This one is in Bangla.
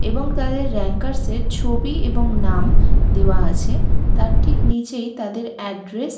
এবং তাদের র‍্যাঙ্কারসদের ছবি এবং নাম দেওয়া আছে । তার ঠিক নিচেই তাদের এড্রেস --